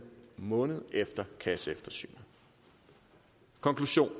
måned efter kasseeftersynet konklusionen